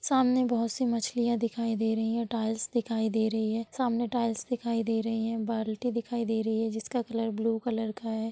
सामने बहुत सी मछलियां दिखाई दे रही है| टाइल दिखाई दे रही है| सामने टाइल दिखाई दे रही है| बाल्टी दिखाई दे रही है जिसका कलर ब्लू कलर का है।